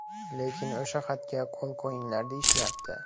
Lekin o‘sha xatga qo‘l qo‘yinglar deyishyapti.